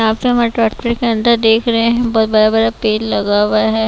यहां पे हमारे ट्रेक्टर के अंदर देख रहे है बोहोत बड़ा बड़ा पेड़ लगा हुआ हैं।